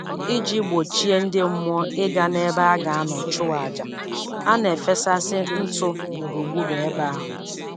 Iji gbochie ndị mmụọ ịga n'ebe a ga-anọ chụọ aja, a na-efesasị ntụ gburugburu ebe ahụ